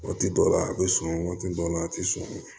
Waati dɔ la a bɛ sɔn waati dɔ la a tɛ sɔn